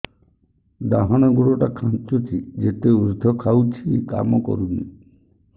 ଡାହାଣ ଗୁଡ଼ ଟା ଖାନ୍ଚୁଚି ଯେତେ ଉଷ୍ଧ ଖାଉଛି କାମ କରୁନି